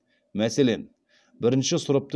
мәселен бірінші сұрыпты